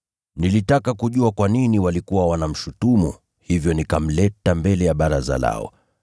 Nilitaka kujua kwa nini walikuwa wanamshutumu, hivyo nikamleta mbele ya baraza lao.